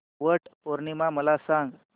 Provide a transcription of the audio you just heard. वट पौर्णिमा मला सांग